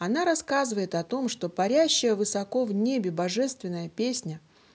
она рассказывает о том что парящая высоко в небе божественная песня